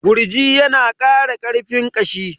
Gurji ya na ƙara ƙarfin ƙashi